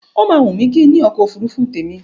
Ó máa wùn mí kí n ní ọkọ̀ òfurufú tèmi.